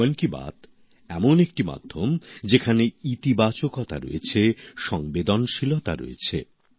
মন কি বাত এমন একটি মাধ্যম যেখানে ইতিবাচক দিক রয়েছে সংবেদনশীলতা রয়েছে